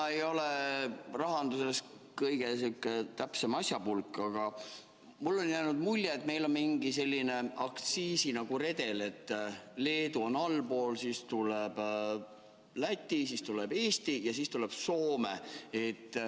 Ma ei ole rahanduses kõige targem asjapulk, aga mulle on jäänud mulje, et meil on mingi selline aktsiisiredel: Leedu on allpool, siis tuleb Läti, siis tuleb Eesti ja siis tuleb Soome.